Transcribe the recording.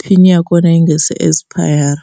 pin ya kona yi nga se expire.